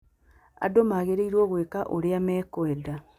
Andũ magĩrĩirũo gwĩka ũrĩa mekwenda.